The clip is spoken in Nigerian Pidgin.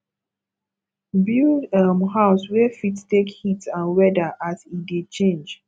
build um house wey fit take heat and weather as e dey change